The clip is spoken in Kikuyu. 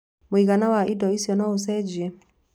Mũigana wa indo icio no ũcenjie.